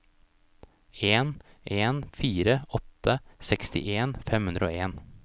en en fire åtte sekstien fem hundre og en